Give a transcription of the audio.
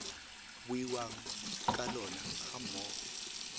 buiwang ka lona ga mmogo